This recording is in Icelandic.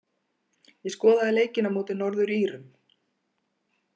Ég skoðaði leikinn á móti Norður-Írum.